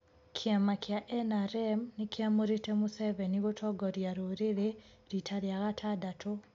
Kiama kia NRM nikiamũrite Museveni gũtongoria rũririi rita ria gatandatũ.